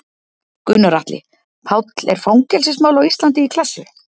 Gunnar Atli: Páll er fangelsismál á Íslandi í klessu?